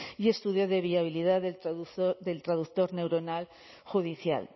y estudio de viabilidad del traduce del traductor neuronal judicial